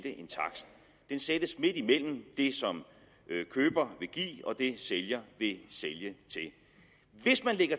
en takst den sættes midt imellem det som køber vil give og det sælger vil sælge